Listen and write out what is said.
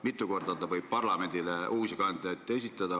Mitu korda ta võib parlamendile uusi kandidaate esitada?